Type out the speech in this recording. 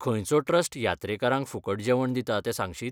खंयचो ट्रस्ट यात्रेकरांक फुकट जेवण दिता तें सांगशीत?